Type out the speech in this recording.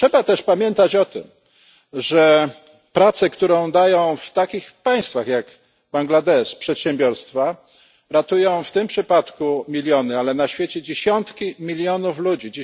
Ale trzeba też pamiętać o tym, że praca, którą dają w takich państwach jak Bangladesz przedsiębiorstwa, ratuje w tym przypadku miliony, a na świecie dziesiątki milionów ludzi.